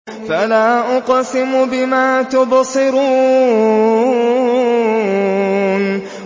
فَلَا أُقْسِمُ بِمَا تُبْصِرُونَ